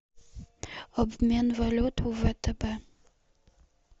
обмен валют втб